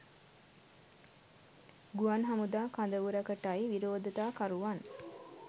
ගුවන් හමුදා කඳවුරකටයි විරෝධතා කරුවන්